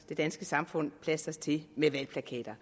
det danske samfund plastres til med valgplakater